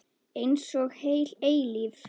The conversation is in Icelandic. Einsog heil eilífð.